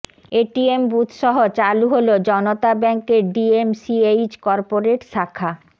ATM বুথসহ চালু হলো জনতা ব্যাংকের ডিএমসিএইচ কর্পোরেট শাখা